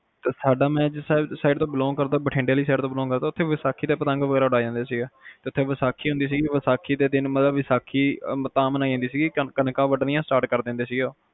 ਤੇ ਸਾਡਾ ਮੈਂ ਜਿਸ side ਤੋਂ ਬਿਲੋਂਗ ਕਰਦਾ ਬਠਿੰਡੇ ਤੋਂ ਬਿਲੋਂਗ ਕਰਦਾ ਸਾਡੇ ਵੈਸਾਖੀ ਤੇ ਪਤੰਗ ਉਡਾਏ ਜਾਂਦੇ ਆ ਤੇ ਵੈਸਾਖੀ ਹੁੰਦੀ ਸੀ ਵੈਸਾਖੀ ਦੇ ਦਿਨ ਵੈਸਾਖੀ ਤਾ ਮਨਾਈ ਜਾਂਦੀ ਸੀ ਕੇ ਕਣਕਾਂ ਵੰਡਣੀਆਂ start ਕਰ ਦਿੰਦੇ ਸੀਗੇ